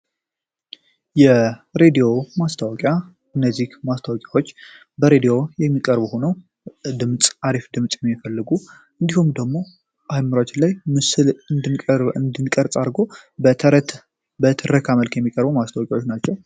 የሬዲዮ ማስታወቂያ እነዚህ ማስታወቂያዎች በሬድዮ የሚቀርቡ ሆነው ድምፅ አሪፍ ድምፅ የሚፈልጉ እንዲሁም ደግሞ አይምራች ላይ ምስል እንድንቀርፀ አርጎ በትረካ መልክ የሚቀርቡ ማስታወቂያዎች ናቸው።